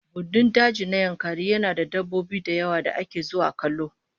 Gandun daji na Yankari yana da dabbobin dawa da ake zuwa kallo